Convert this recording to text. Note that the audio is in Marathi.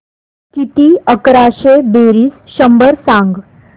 किती अकराशे बेरीज शंभर सांग